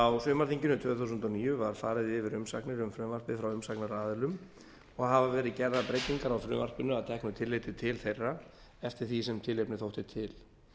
á sumarþinginu tvö þúsund og níu var farið yfir umsagnir um frumvarpið frá umsagnaraðilum og hafa verið gerðar breytingar á frumvarpinu að teknu tilliti til þeirra eftir því sem tilefni þótti til